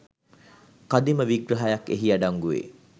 කදිම විග්‍රහයක් එහි අඩංගු වේ